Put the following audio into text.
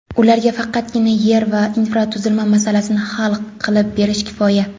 ularga faqatgina yer va infratuzilma masalasini hal qilib berish kifoya.